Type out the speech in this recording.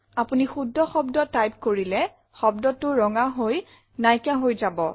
আপোনি শুদ্ধ শব্দ টাইপ কৰিলে শব্দটো ৰঙা হৈ নাইকিয়া হহৈ যাব